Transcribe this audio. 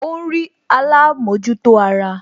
Ó ń rí alámòjútó ara